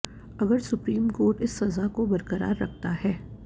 अगर supreme court इस सजा को बरकरार रखता है